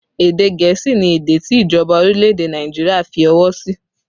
Èdè gẹ̀ẹ́sì ni èdè tí ìjọba orílẹ̀ èdè Nàìjíríà fi ọwọ́ sí